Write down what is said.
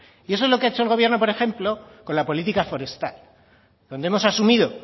y eso es lo que ha hecho el gobierno por ejemplo con la política forestal donde hemos asumido